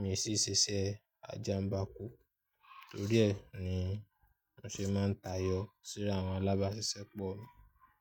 mi sì ṣe iṣẹ́ àjàǹbá kú. Torí ẹ ni mo ṣe máa ń tayọ síra àwọn alábáṣiṣẹ́po mi.